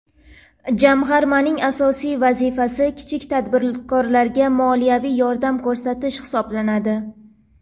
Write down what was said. Jamg‘armaning asosiy vazifasi kichik tadbirkorlarga moliyaviy yordam ko‘rsatish hisoblanadi.